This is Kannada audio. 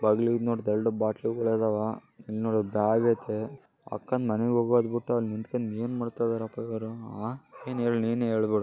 ಬಗ್ಲೂಗ್ ನೋಡ್ ಎರಡ್ ಬಾಟ್ಲು ಗಳದಾವ ಇಲ್ ನೋಡು ಬ್ಯಾಗ್ ಅಯ್ತೆ. ಅಕ್ಕನ್ ಮನೆಗ್ ಹೋಗದ್ ಬಿಟ್ಟು ಅದ್ಕೆನ್ ಏನ್ ಮಾಡ್ತಾಯಿದರೆ ಪ ಇವ್ನು ಆಂ ಏನ್ ಏಳ್ ನೀನೆ ಏಳು.